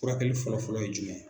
Furakɛli fɔlɔfɔlɔ ye jumɛn?